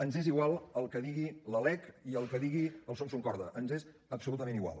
ens és igual el que digui la lec i el que digui el sursuncorda ens és absolutament igual